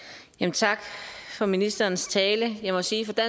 tak for ministerens tale jeg må sige at